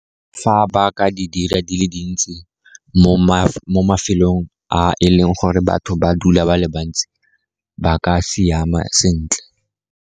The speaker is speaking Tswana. Fa ba ka di dira di le dintsi mo mafelong a e leng gore batho ba dula ba le bantsi ba ka siama sentle.